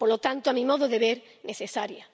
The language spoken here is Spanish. Por lo tanto, a mi modo de ver, necesaria.